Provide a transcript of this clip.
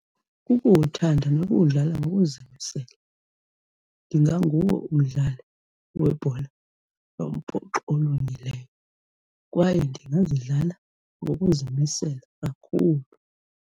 Kukuwuthanda nokuwudlala ngokuzimisela. Ndinganguwo umdlali webhola yombhoxo olungileyo kwaye ndingazidlala ngokuzimisela kakhulu.